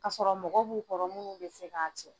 K'a sɔrɔ mɔgɔw b'u kɔrɔ minnu bɛ se k'a cɛ.